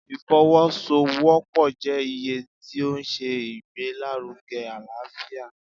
ìfọwọ-sowopọ jẹ iye ti o ṣe ìgbelárúge alaáfiá